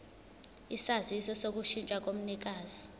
isaziso sokushintsha komnikazi